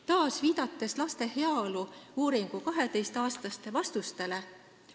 Taas viitan laste heaolu uuringus äratoodud 12-aastaste laste vastustele.